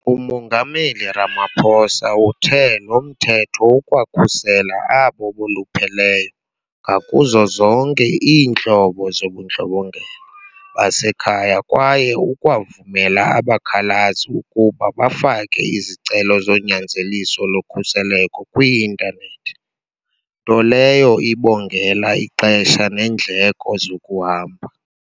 UMongameli Ramaphosa uthe lo Mthetho ukwakhusela abo bolupheleyo ngakuzo zonke iintlobo zobundlobongela basekhaya kwaye ukwavumela abakhalazi ukuba bafake izicelo zonyanzeliso lokhuselo kwii-intanethi, nto leyo ibongela ixesha neendleko zokuhamba.